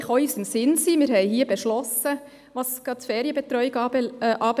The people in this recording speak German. Dies ist auch in unserem Sinn, gerade was die Ferienbetreuung anbelangt.